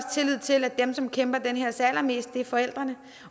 tillid til at dem som kæmper den her sag allermest er forældrene